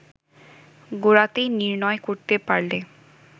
গোড়াতেই নির্ণয় করতে পারলে